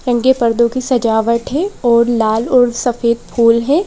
रंगे पर्दों की सजावट है और लाल और सफेद फूल है।